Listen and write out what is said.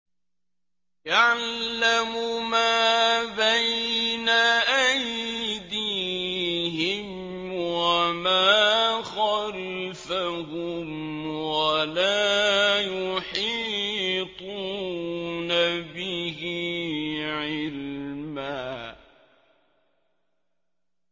يَعْلَمُ مَا بَيْنَ أَيْدِيهِمْ وَمَا خَلْفَهُمْ وَلَا يُحِيطُونَ بِهِ عِلْمًا